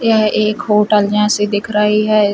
यह एक होटल जैसी दिख रही है।